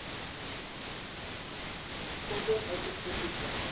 onder uiterste toestande